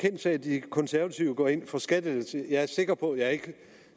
kendt sag at de konservative går ind for skattelettelser jeg er sikker på at jeg ikke